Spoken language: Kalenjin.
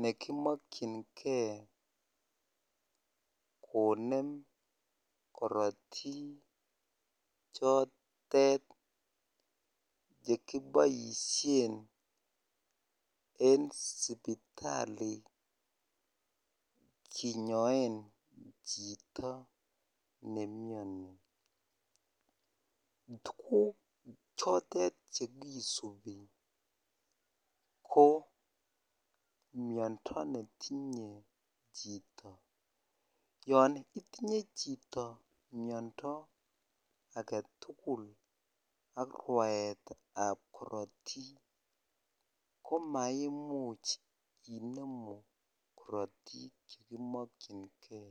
nekimokyinge konem korotik chotet chekiboisien en sipitali kinyoen chito nemiani tuguk chotet chekisubi ko miando netinye chito yon itinye chito miando agetugul ak rwaetab korotik komaimuch inemu korotik chekimokyingee.